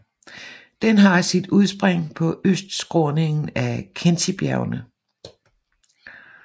Den har sit udspring på østskråningen af Khentijbjergene